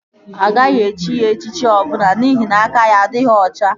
Agaghị echi ya echichi ọbụla n'ihi na aka ya adịghị ọcha